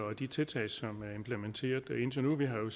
og de tiltag som er implementeret indtil nu vi har jo